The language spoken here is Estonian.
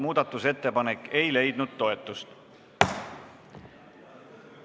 Muudatusettepanek ei leidnud toetust.